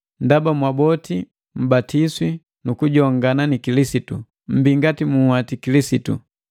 Ndaba mwaboti mbatiswi nukujongana ni Kilisitu, mmbii ngati muhwati Kilisitu.